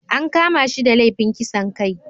An kama shi da laifin kisan kai